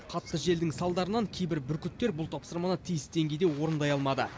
қатты желдің салдарынан кейбір бүркіттер бұл тапсырманы тиісті деңгейде орындай алмады